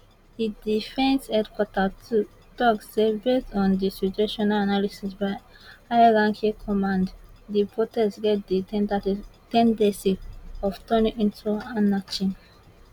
di defence headquarter tok say based on di situational analysis by high ranking command di protest get di ten dency of turning into anarchy